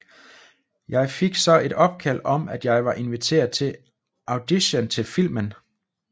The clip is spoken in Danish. Jeg fik så et opkald om at jeg var inviteret til audition til filmen